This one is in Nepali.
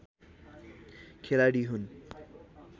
खेलाडी हुन्